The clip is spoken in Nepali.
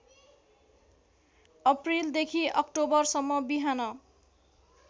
अप्रिलदेखि अक्टोबरसम्म बिहान